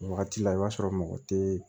O wagati la i b'a sɔrɔ mɔgɔ tɛ